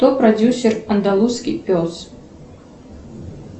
кто продюсер андалузский пес